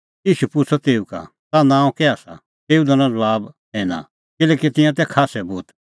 ईशू पुछ़अ तेऊ का ताह नांअ कै आसा तेऊ दैनअ ज़बाब सैना किल्हैकि तिंयां तै खास्सै भूत